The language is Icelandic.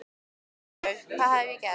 Guð minn góður, hvað hafði ég gert?